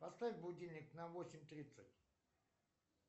поставь будильник на восемь тридцать